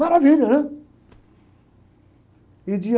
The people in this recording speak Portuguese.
Maravilha, né?